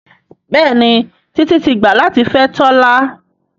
Béèni Titi tí gbà latí fè Tola.